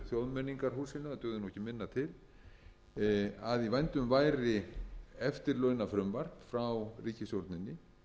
nú ekki minna til að í vændum væri eftirlaunafrumvarp frá ríkisstjórninni